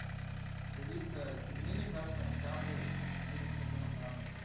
алиса пельмени красный октябрь четыреста грамм на дом